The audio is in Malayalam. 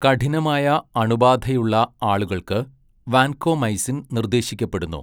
കഠിനമായ അണുബാധയുള്ള ആളുകൾക്ക്, വാൻകോമൈസിൻ നിർദ്ദേശിക്കപ്പെടുന്നു.